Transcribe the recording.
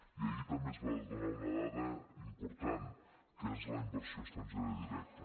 i ahir també es va donar una dada important que és la inversió estrangera directa